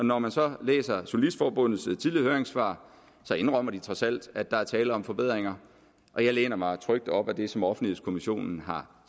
når man så læser journalistforbundets tidligere høringssvar indrømmer de trods alt at der er tale om forbedringer og jeg læner mig trygt op ad det som offentlighedskommissionen har